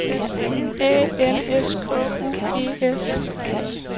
A N S K U E S